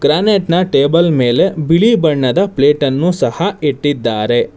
Granite ನ table ಮೇಲೆ ಬಿಳಿ ಬಣ್ಣದ ಪ್ಲೇಟ್ ಅನ್ನು ಸಹ ಇಟ್ಟಿದ್ದಾರೆ.